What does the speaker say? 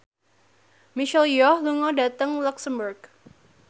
Michelle Yeoh lunga dhateng luxemburg